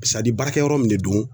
baarakɛ yɔrɔ min de don